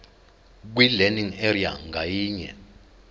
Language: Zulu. kwilearning area ngayinye